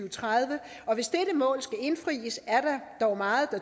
og tredive hvis dette mål skal indfries er der dog meget